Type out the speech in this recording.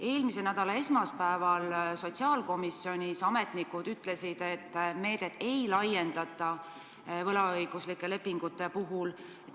Eelmise nädala esmaspäeval sotsiaalkomisjonis ametnikud ütlesid, et meedet ei laiendata võlaõiguslike lepingutega inimestele.